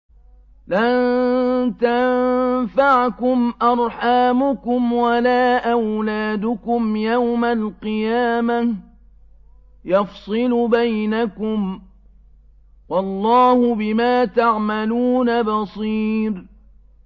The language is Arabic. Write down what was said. لَن تَنفَعَكُمْ أَرْحَامُكُمْ وَلَا أَوْلَادُكُمْ ۚ يَوْمَ الْقِيَامَةِ يَفْصِلُ بَيْنَكُمْ ۚ وَاللَّهُ بِمَا تَعْمَلُونَ بَصِيرٌ